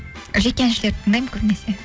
жеке әншілерді тыңдаймын көбінесе